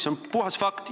See on puhas fakt.